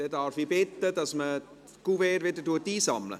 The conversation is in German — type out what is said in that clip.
Dann darf ich darum bitten, dass man die Kuverts wieder einsammelt.